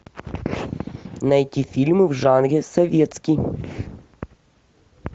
найти фильмы в жанре советский